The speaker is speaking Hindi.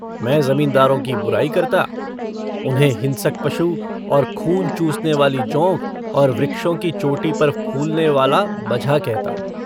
मैं ज़मींदारों की बुराई करता, उन्हें हिंसक पशु और खून चूसनेवाली जोंक और वृक्षों की चोटी पर फूलनेवाला बझा कहता।